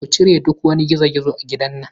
Ku cire duk wani girgizo a gidan nan.